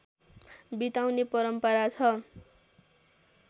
बिताउने परम्परा छ